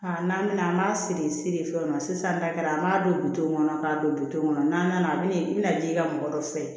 n'an bɛna an b'a siri seri fɛnw na sisan n'a kɛra an b'a don bitɔn ŋɔnɔ k'a don kɔnɔ n'a nana a bɛna i bina den ka mɔgɔ dɔ fɛ